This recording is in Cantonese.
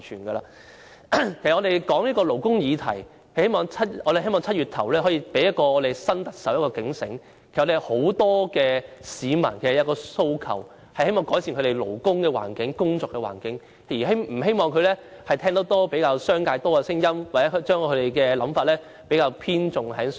我們討論勞工議題，希望在7月初讓新特首有所警醒，很多市民其實有一個訴求，就是希望改善工作環境，不希望她偏聽商界的聲音，又或將想法偏重於商界。